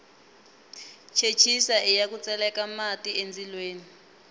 chechisa iya ku tseleka mati endzilweni